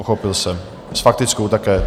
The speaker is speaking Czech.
Pochopil jsem, s faktickou také.